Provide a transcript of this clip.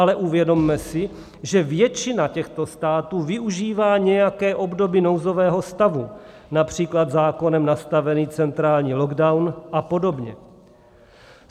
Ale uvědomme si, že většina těchto států využívá nějaké obdoby nouzového stavu, například zákonem nastavený centrální lockdown a podobně.